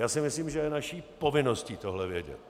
Já si myslím, že je naší povinností tohle vědět.